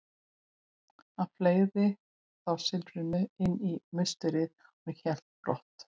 Hann fleygði þá silfrinu inn í musterið og hélt brott.